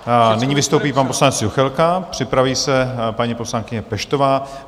Nyní vystoupí pan poslanec Juchelka, připraví se paní poslankyně Peštová.